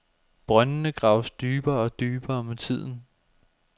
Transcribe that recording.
Brøndene graves dybere og dybere med tiden.